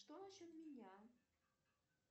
что насчет меня